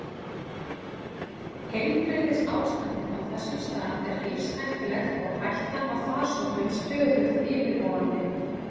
Heilbrigðisástandið á þessum stað er lífshættulegt og hættan á farsóttum stöðugt yfirvofandi.